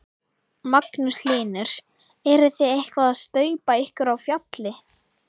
Magnús Hlynur: Eruð þið eitthvað að staupa ykkur á fjalli?